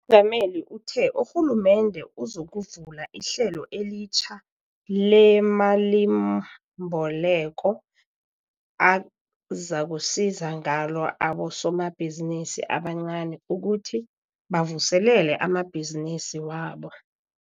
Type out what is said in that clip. gameli uthe urhulumende uzokuvula ihlelo elitjha lemalimboleko azakusiza ngalo abosomabhizinisi abancani ukuthi bavuselele amabhizinisi wabo.